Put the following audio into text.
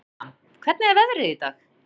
Tanía, hvernig er veðrið í dag?